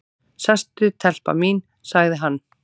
"""Sestu telpa mín, sagði hann."""